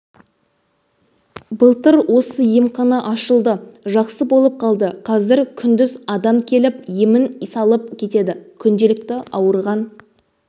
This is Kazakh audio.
былтыр осы емхана ашылды жақсы болып қалды қазір күндіз адам келіп емін салып кетеді күнделікті ауырған